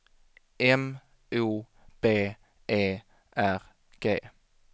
M O B E R G